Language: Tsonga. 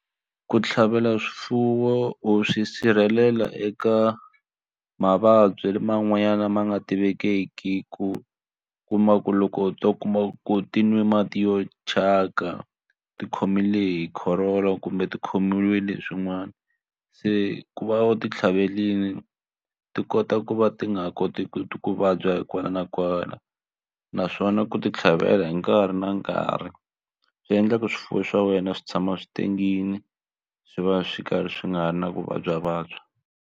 Ku tlhavela swifuwo u swi sirhelela eka mavabyi man'wanyana lama nga tivekiki ku kuma ku loko u to kuma ku ti nwa mati yo thyaka ti khomile hi corolla kumbe ti khomiwile swin'wana se ku va u ti tlhaverile ti kota ku va ti nga ha koti ku vabya kwala na kwala naswona ku ti tlhavela hi nkarhi na nkarhi swi endla ku swifuwo swa wena swi tshama swi tengile swi va swi karhi swi nga ha ri na ku vabyavabya.